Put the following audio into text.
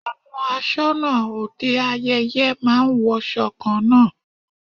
Àwọn aṣọnà òde ayẹyẹ máa ń wọṣọ kan náà.